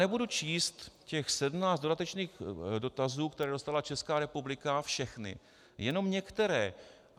Nebudu číst těch 17 dodatečných dotazů, které dostala Česká republika, všechny, jenom některé.